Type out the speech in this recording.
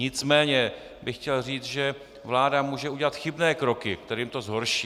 Nicméně bych chtěl říct, že vláda může udělat chybné kroky, kterými to zhorší.